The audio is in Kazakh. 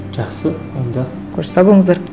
жақсы онда қош сау болыңыздар